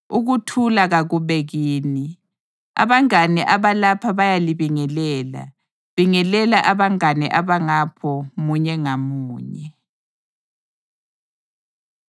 Ukuthula kakube kini. Abangane abalapha bayalibingelela. Bingelela abangane abangapho munye ngamunye.